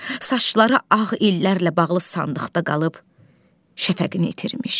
Saçları ağ illərlə bağlı sandıqda qalıb, şəfəqini itirmiş.